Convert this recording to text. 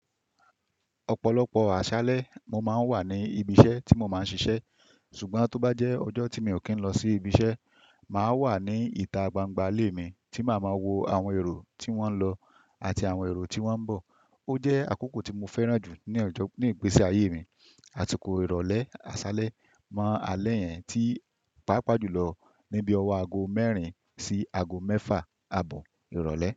Ọ̀pọ̀lọpọ̀ àṣálẹ́ mo máa ń wà ní ibi iṣẹ́ tí mo máa ń ṣiṣẹ́. Ṣùgbọ́n tó bá jẹ́ ọjọ́ tí mi ò kí n lọ sí ibi iṣẹ́, màá wà ní ìta gbangba ilé mi tí màá máa wo àwọn èrò tí wọ́n ń lọ àti àwọn èrò tí wọ́n ń bọ̀. Ó jẹ́ àkókò tí mo fẹ́ràn jù ní ìgbésí ayé mi. Àtíkò ìrọ̀lẹ́ àṣálẹ́ mọ́ alẹ́ yẹn tí pàápàá jùlọ níbí ọwọ́ aago mẹ́rin sí aago mẹ́fà ààbọ̀ ìrọ̀lẹ́